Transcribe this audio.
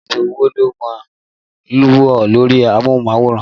Àwọn ètò wo lo máa ń ń wò lórí amóhùnmáwòrán